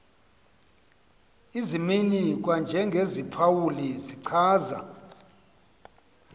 izimnini kwanjengeziphawuli zichaza